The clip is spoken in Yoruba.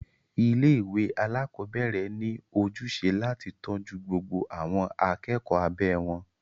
Ilé ìwé alákọ̀berẹ̀ ní ojúṣe láti tọ́jú gbogbo àwọn akẹ́kọ̀ọ́ abẹ́ wọn.